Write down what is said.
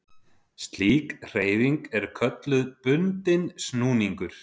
Slík hreyfing er kölluð bundinn snúningur.